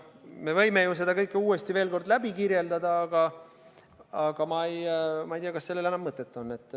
Me võime ju seda kõike uuesti veel kord kirjeldada, aga ma ei tea, kas sellel on enam mõtet.